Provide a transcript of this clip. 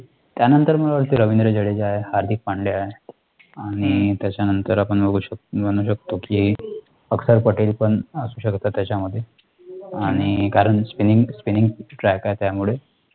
त्यानंतर मग रवींद्र जडेजा आहे, हार्दिक पांड्या आहे, आणि त्याच्यानंतर आपण बघू शकतो म्हणू शकतो कि अख्तर पटेल पण असू शकतो त्याच्यामध्ये आणि कारण SPINNING SPINNING TRACK आहे त्यामुळे